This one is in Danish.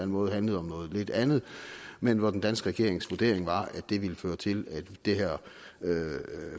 måde handlede om noget lidt andet men hvor den danske regerings vurdering var at det ville føre til at det her